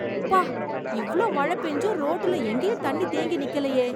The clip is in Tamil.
ப்பா! இவ்வளவு மழை பேஞ்சும் ரோட்டுல எங்கேயும் தண்ணி தேங்கி நிக்கலையே!